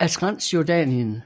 af Transjordanien